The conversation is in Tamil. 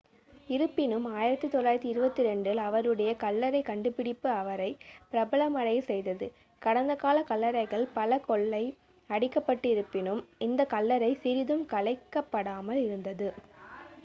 இருப்பினும் 1922 இல் அவருடைய கல்லறை கண்டுபிடிப்பு அவரை பிரபலமடையச் செய்தது கடந்த கால கல்லறைகள் பல கொள்ளை அடிக்கப்பட்டிருப்பினும் இந்த கல்லறை சிறிதும் கலைக்கப்படாமல் இருந்தது